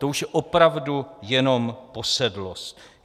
To už je opravdu jenom posedlost.